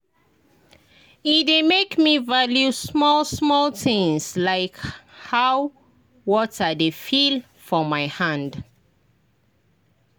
e dey make me value small-small things — like how water dey feel for my hand.